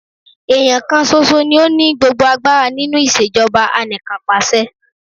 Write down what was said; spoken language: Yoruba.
Èèyàn kan ṣoṣo ni ó ni gbogbo agbára nínú ìṣèjọba anìkànpàṣe.